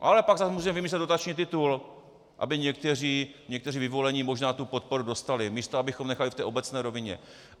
Ale pak zase můžeme vymyslet dotační titul, aby někteří vyvolení možná tu podporu dostali, místo abychom nechali v té obecné rovině.